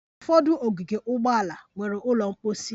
Ụfọdụ ogige ụgbọala nwere ụlọ mposi